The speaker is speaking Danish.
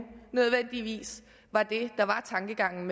nødvendigvis er det der var tankegangen